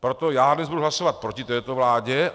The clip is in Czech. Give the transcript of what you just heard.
Proto já dnes budu hlasovat proti této vládě.